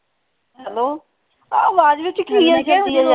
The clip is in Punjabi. hello ਆਹ ਵਾਜ ਵਿਚ ਕਿ ਆਈ ਜਾਂਦੀ